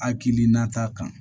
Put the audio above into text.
Akili na ta kan